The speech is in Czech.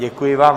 Děkuji vám.